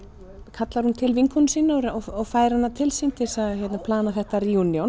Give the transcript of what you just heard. kallar til vinkonu sína og fær hana til sín til þess að plana þetta